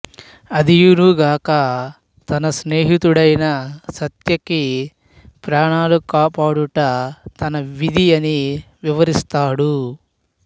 అదియును గాక తన స్నేహితుడైన సాత్యకి ప్రాణాలు కాపాడుట తన విధి అని వివరిస్తాడు